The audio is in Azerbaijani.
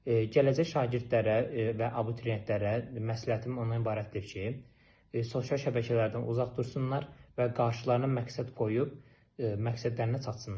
Gələcək şagirdlərə və abituriyentlərə məsləhətim ondan ibarətdir ki, sosial şəbəkələrdən uzaq dursunlar və qarşılarına məqsəd qoyub məqsədlərinə çatsınlar.